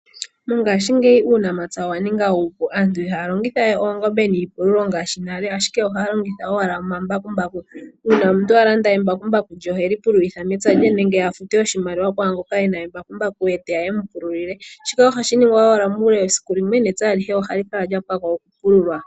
Mongashingeyi uunamapya owa ninga uupu. Aantu ihaa longitha we oongombe niipululo ngaashi nale, ashike ohaya longitha owala omambakumbaku. Uuna omuntu a landa embakumbaku lye ohe li pululitha mepya lye nenge a fute oshimaliwa kwaangoka e na embakumbaku ye teya e mu pululile. Shika ohashi ningwa owala muule wesiku limwe, nepya alihe ohali kala lya pwa ko okupululwa.